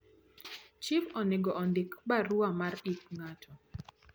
chif onego ondik barua mar ik ngato